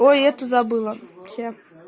ой эту забыла вчера